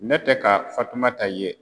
Ne tɛ ka fatumata ye.